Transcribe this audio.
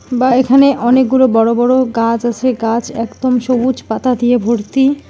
বা এখানে অনেকগুলো বড় বড় গাছ আছে গাছ একদম সবুজ পাতা দিয়ে ভর্তি।